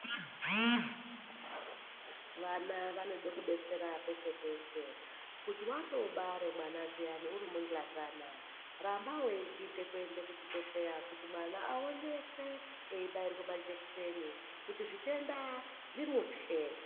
Vana vanode kudetsera peshe-peshe. Kuti watobare mwana zviyani urimunhlazana, ramba weiginde kuenda kuchibhehleya kuti mwana aonekwe eibairwe majekiseni kuti zvitenda zvimutye.